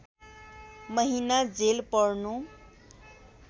महिना जेल पर्नु